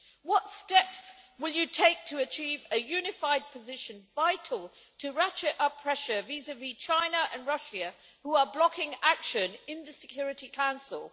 What steps will you take to achieve a unified position vital to ratchet up pressure vis vis China and Russia, who are blocking action in the Security Council?